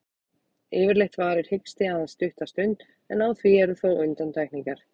Yfirleitt varir hiksti aðeins stutta stund, en á því eru þó undantekningar.